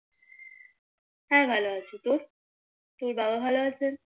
হ্যাঁ ভালো আছি তোর বাবা ভালো আছেন